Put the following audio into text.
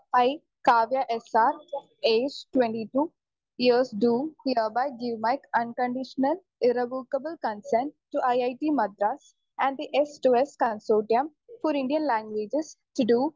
speaker 2 I, Kavya S R age twenty two years do hereby give my unconditional irrevocable consent to IIT Madras and the S two S consortium for Indian languages to Dr